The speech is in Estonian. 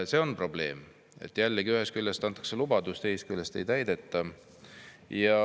See on probleem – antakse lubadus, aga seda ei täideta.